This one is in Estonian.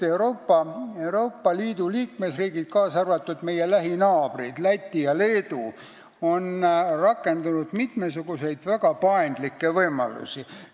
Euroopa Liidu liikmesriigid, kaasa arvatud meie lähinaabrid Läti ja Leedu, on rakendanud mitmesuguseid väga paindlikke võimalusi.